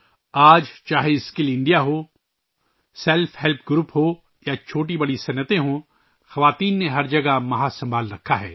آج چاہے skill India ہو، سیلف ہیلپ گروپ ہو یا چھوٹی بڑی صنعتیں ہوں ، خواتین ہر جگہ آگے بڑھی ہیں